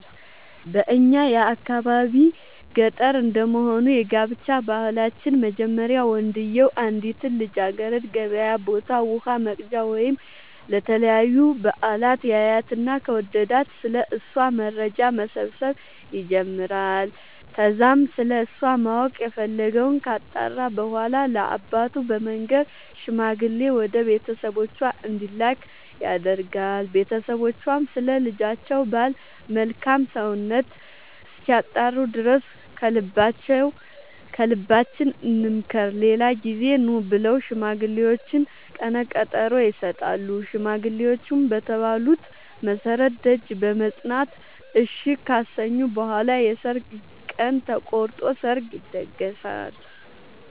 በእኛ የአካባቢ ገጠር እንደመሆኑ የጋብቻ ባህላችን መጀመሪያ ወንድዬው አንዲትን ልጃገረድ ገበያ ቦታ ውሃ ወቅጃ ወይም ለተለያዩ በአላት ያያትና ከወደዳት ስለ እሷ መረጃ መሰብሰብ ይጀምራይ ከዛም ስለሷ ማወቅ የፈለገወን ካጣራ በኋላ ለአባቱ በመንገር ሽማግሌ ወደ ቤተሰቦቿ እንዲላክ ያደርጋል ቦተሰቦቿም ስለ ልጃቸው ባል መልካም ሰውነት እስኪያጣሩ ድረስ ከልባችን እንምከር ሌላ ጊዜ ኑ ብለው ለሽማግሌዎቹ ቀነቀጠሮ ይሰጣሉ ሽማግሌዎቹም በተባሉት መሠረት ደጅ በመፅና እሺ ካሰኙ በኋላ የሰርግ ቀን ተቆርጦ ሰርግ ይደገሳል።